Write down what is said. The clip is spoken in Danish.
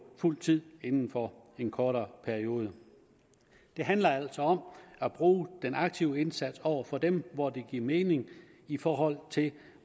fuld tid inden for en kortere periode det handler altså om at bruge den aktive indsats over for dem hvor det giver mening i forhold til